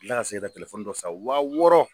kila ka segin ka taa dɔ san wa wɔɔrɔ.